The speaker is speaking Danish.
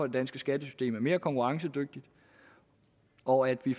det danske skattesystem blev konkurrencedygtigt og at vi